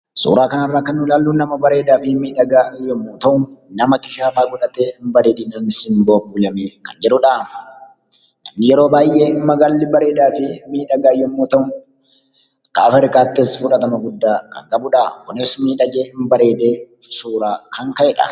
Suuraa kanarraa kan ilaallu nama bareedaa fi miidhagaa yommuu ta'u, nama fuullee ijaa godhatee bareedinaanis simboo godhatee kan jirudha. Yeroo baay'ee magaalli bareedaa fi miidhagaa yommuu ta'u, gaafa ilaaltus fudhatama guddaa kan qabudha kunis miidhagee bareedee suuraa kan ka'edha.